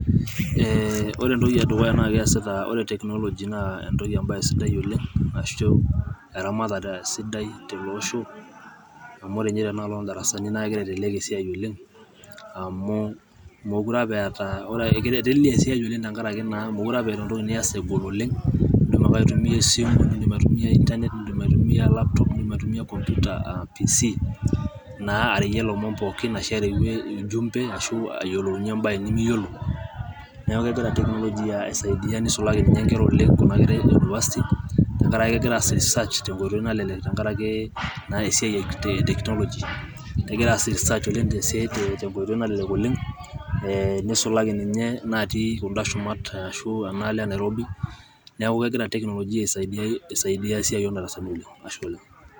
ore entoki edukuya naa keasita, ore technology naa , entoki ebaya sidai oleng ashu eramatare sidai teleosho amu ore ninye tena alo oodarasani, naa kitelelek esiai amu meekure apa eeta entoki nias egol oleng, amu idim ake aitumia esimu ,nidim aitumia laptop, nidim aitumia PC.naa areyie ilomon pookin ,ashu ujumbe ashu ayiolounye ebaye nimiyiolo, neeku kegira technology aisaidia nisulaki ninye nkera oleng Kuna kera e university, tenkaraki kegira aas research te nkoitoi nalelek tenkoitoi nalelek oleng e technology, nisulaki ninye inaatii kuna shumat anaa enaalo e Nairobi, neeku kegira technology aisaidia oleng.